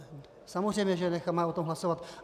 Samozřejmě že necháme o tom hlasovat.